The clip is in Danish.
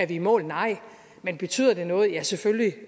i mål nej men betyder det noget ja selvfølgelig